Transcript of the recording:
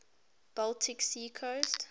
baltic sea coast